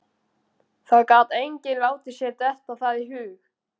Það gat enginn látið sér detta það í hug.